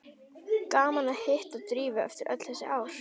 Gaman að hitta Drífu eftir öll þessi ár.